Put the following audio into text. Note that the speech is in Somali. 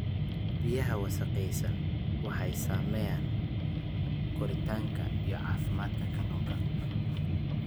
Biyaha wasakhaysan waxay saameeyaan koritaanka iyo caafimaadka kalluunka.